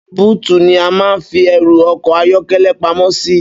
Bútù ní a máa ń fi ẹrù ọkọ̀ ayọ́kẹ́lẹ́ pamọ́ sí.